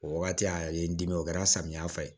O wagati a ye n dimi o kɛra samiya fɛ